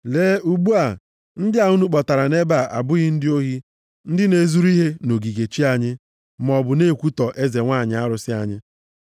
Lee ugbu a, ndị a unu kpọtara nʼebe a abụghị ndị ohi, ndị na-ezuru ihe nʼogige chi anyị, maọbụ na-ekwutọ eze nwanyị arụsị anyị.